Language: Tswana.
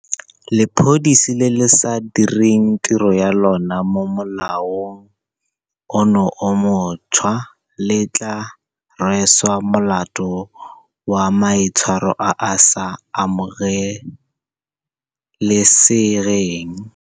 Lepodisi le le sa direng tiro ya lona mo molaong ono o montšhwa le tla rweswa molato wa maitshwaro a a sa amoge lesegeng.